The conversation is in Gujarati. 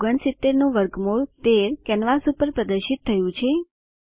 169 નું વર્ગમૂળ 13 કેનવાસ પર પ્રદર્શિત થયું છે